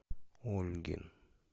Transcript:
ольгин